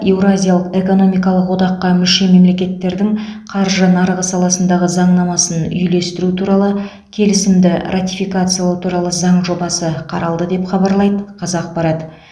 еуразиялық экономикалық одаққа мүше мемлекеттердің қаржы нарығы саласындағы заңнамасын үйлестіру туралы келісімді ратификациялау туралы заң жобасы қаралды деп хабарлайды қазақпарат